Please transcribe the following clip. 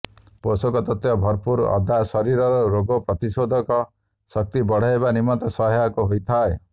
ପୋଷକତତ୍ତ୍ବ ଭରପୂର ଅଦା ଶରୀରର ରୋଗପ୍ରତିରୋଧକ ଶକ୍ତି ବଢ଼ାଇବା ନିମନ୍ତେ ସହାୟକ ହୋଇଥାଏ